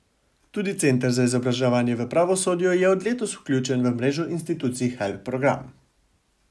Tudi Center za izobraževanje v pravosodju je od letos vključen v mrežo institucij Help program.